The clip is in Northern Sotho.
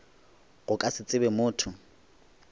go ka se tsebe motho